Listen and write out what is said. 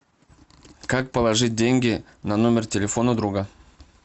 как положить деньги на номер телефона друга